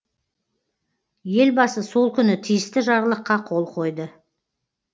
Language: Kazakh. елбасы сол күні тиісті жарлыққа қол қойды